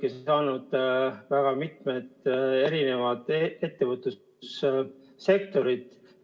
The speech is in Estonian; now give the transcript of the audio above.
Te rääkisite väga mitmest ettevõtlussektorist.